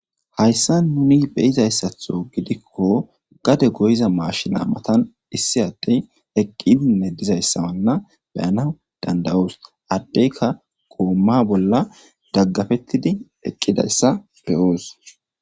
hayssa nuni beyizayssatho gidikko gade goyiza maashina matan issi addey eqqi dinne dizayssawanna beyana dandayoos addeyka goomma bolla daggafettidi eqqidayssa beyoos